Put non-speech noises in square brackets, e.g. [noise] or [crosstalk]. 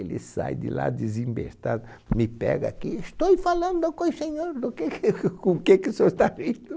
Ele sai de lá desembestado, me pega aqui, estoi falando com o senhor, do que que [laughs] com o que que o senhor está dizendo?